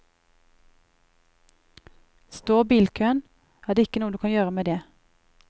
Står bilkøen, er det ikke noe du kan gjøre med det.